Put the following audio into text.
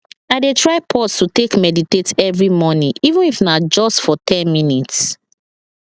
i dey try pause to take meditate every morning even if na just for ten minutes